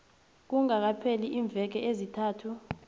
kungakapheli iimveke ezintathu